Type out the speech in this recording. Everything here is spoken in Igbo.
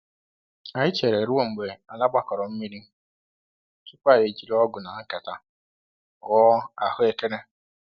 Anyị chere ruo mgbe ala gbakọrọ mmiri tupu anyị ejiri ọgụ na nkata ghọọ ahụekere.